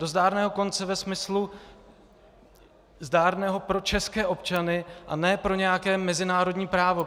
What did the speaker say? Do zdárného konce ve smyslu zdárného pro české občany, a ne pro nějaké mezinárodní právo.